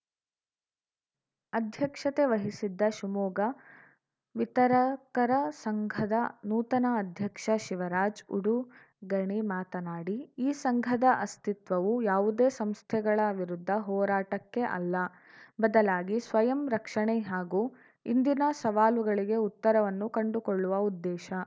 ಅಧ್ಯಕ್ಷತೆ ವಹಿಸಿದ್ದ ಶಿವಮೊಗ್ಗ ವಿತರಕರ ಸಂಘದ ನೂತನ ಅಧ್ಯಕ್ಷ ಶಿವರಾಜ್‌ ಉಡುಗಣಿ ಮಾತನಾಡಿ ಈ ಸಂಘದ ಅಸ್ಥಿತ್ವವು ಯಾವುದೇ ಸಂಸ್ಥೆಗಳ ವಿರುದ್ಧ ಹೋರಾಟಕ್ಕೆ ಅಲ್ಲ ಬದಲಾಗಿ ಸ್ವಯಂ ರಕ್ಷಣೆ ಹಾಗೂ ಇಂದಿನ ಸವಾಲುಗಳಿಗೆ ಉತ್ತರವನ್ನು ಕಂಡುಕೊಳ್ಳುವ ಉದ್ದೇಶ